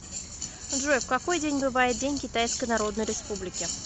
джой в какой день бывает день китайской народной республики